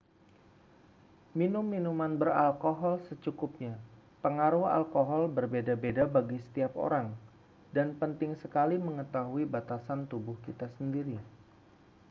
minum minuman beralkohol secukupnya pengaruh alkohol berbeda-beda bagi setiap orang dan penting sekali mengetahui batasan tubuh kita sendiri